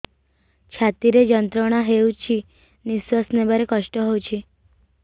ଛାତି ରେ ଯନ୍ତ୍ରଣା ହେଉଛି ନିଶ୍ଵାସ ନେବାର କଷ୍ଟ ହେଉଛି